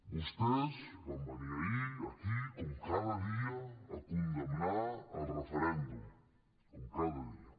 vostès van venir ahir aquí com cada dia a condemnar el referèndum com cada dia